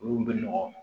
Olu bɛ nɔgɔ